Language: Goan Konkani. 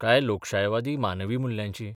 काय लोकशायवादी मानवी मुल्यांची?